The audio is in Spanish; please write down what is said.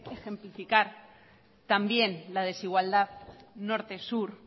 ejemplificar tan bien la desigualdad norte sur